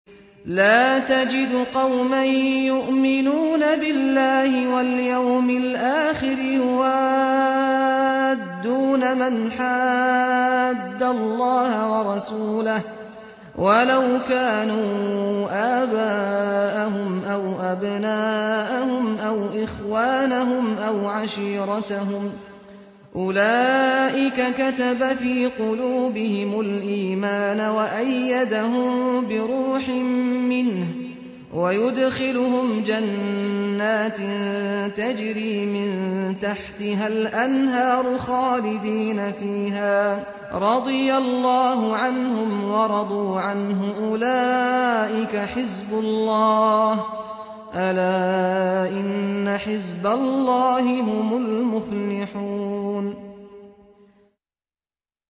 لَّا تَجِدُ قَوْمًا يُؤْمِنُونَ بِاللَّهِ وَالْيَوْمِ الْآخِرِ يُوَادُّونَ مَنْ حَادَّ اللَّهَ وَرَسُولَهُ وَلَوْ كَانُوا آبَاءَهُمْ أَوْ أَبْنَاءَهُمْ أَوْ إِخْوَانَهُمْ أَوْ عَشِيرَتَهُمْ ۚ أُولَٰئِكَ كَتَبَ فِي قُلُوبِهِمُ الْإِيمَانَ وَأَيَّدَهُم بِرُوحٍ مِّنْهُ ۖ وَيُدْخِلُهُمْ جَنَّاتٍ تَجْرِي مِن تَحْتِهَا الْأَنْهَارُ خَالِدِينَ فِيهَا ۚ رَضِيَ اللَّهُ عَنْهُمْ وَرَضُوا عَنْهُ ۚ أُولَٰئِكَ حِزْبُ اللَّهِ ۚ أَلَا إِنَّ حِزْبَ اللَّهِ هُمُ الْمُفْلِحُونَ